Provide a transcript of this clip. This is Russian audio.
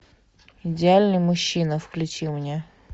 идеальный мужчина включи мне